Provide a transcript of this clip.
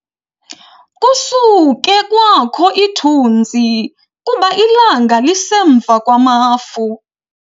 Kusuke kwakho ithunzi kuba ilanga lisemva kwamafu.